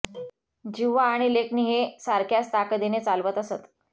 जिव्हा आणि लेखणी ते सारख्याच ताकदीने चालवत असत